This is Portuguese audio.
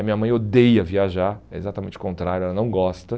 A minha mãe odeia viajar, é exatamente o contrário, ela não gosta.